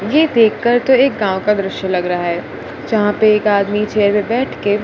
ये देखकर तो एक गांव का दृश्य लग रहा है जहा पे एक आदमी चेयर पे बैठ के--